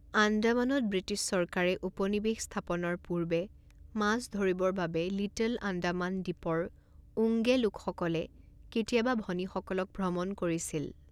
আন্দামানত British চৰকাৰে উপনিবেশ স্থাপনৰ পূৰ্বে, মাছ ধৰিবৰ বাবে লিটল আন্দামান দ্বীপৰ ওঙ্গে লোকসকলে কেতিয়াবা ভনীসকলক ভ্ৰমণ কৰিছিল।